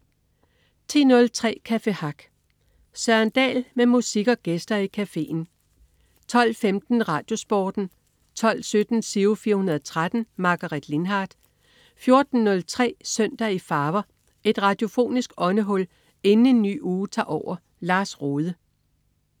10.03 Café Hack. Søren Dahl med musik og gæster i cafeen 12.15 RadioSporten 12.17 Giro 413. Margaret Lindhardt 14.03 Søndag i farver. Et radiofonisk åndehul inden en ny uge tager over. Lars Rohde